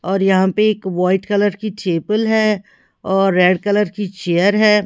और यहां पे एक वाइट कलर की ठेपुल है और रेड कलर की चेयर है।